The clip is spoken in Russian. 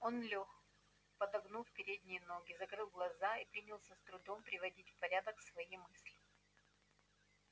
он лёг подогнув передние ноги закрыл глаза и принялся с трудом приводить в порядок свои мысли